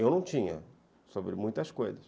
Eu não tinha, sobre muitas coisas.